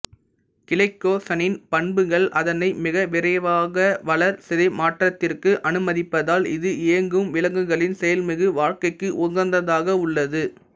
கிளைக்கோசனின் பண்புகள் அதனை மிக விரைவாக வளர்சிதைமாற்றத்திற்கு அனுமதிப்பதால் இது இயங்கும் விலங்குகளின் செயல்மிகு வாழ்க்கைக்கு உகந்ததாக உள்ளது